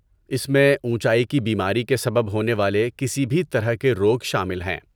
اس میں اونچائی کی بیماری کے سبب ہونے والے کسی بھی طرح کے روگ شامل ہیں۔